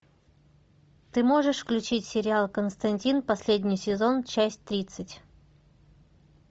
ты можешь включить сериал константин последний сезон часть тридцать